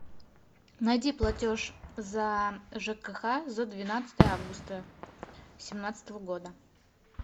найди платеж за жкх за двенадцатое августа семнадцатого года